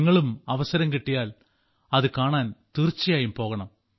നിങ്ങളും അവസരം കിട്ടിയാൽ ഇത് കാണാൻ തീർച്ചയായും പോകണം